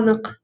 анық